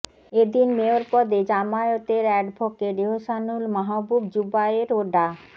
এদিন মেয়র পদে জামায়াতের অ্যাডভোকেট এহসানুল মাহবুব জুবায়ের ও ডা